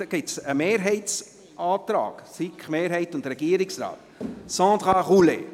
Es liegt ein Mehrheitsantrag, SiK-Mehrheit und Regierungsrat, vor. – Sandra Roulet.